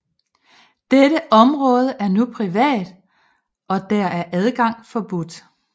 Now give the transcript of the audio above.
Dette område er nu privat og der er adgang forbudt